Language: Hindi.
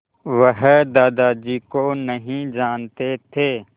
वह दादाजी को नहीं जानते थे